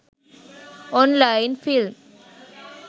online film